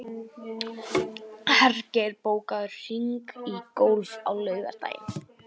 Hergeir, bókaðu hring í golf á laugardaginn.